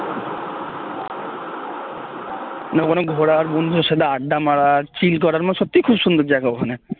না মানে ঘোরার বন্ধুদের সাথে আড্ডা মারার chill করার মানে সত্যিই খুব সুন্দর জায়গা ওখানে